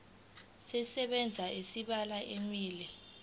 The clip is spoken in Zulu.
sisebenza iminyaka emibili